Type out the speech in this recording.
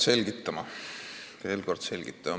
Pean veel kord selgitama.